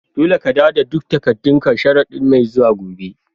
Dolle ka dawo da duk takadun ka sharadin' mai zuwa.